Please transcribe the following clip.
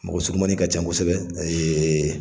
Mɔgɔ surumanin ka can kosɛbɛ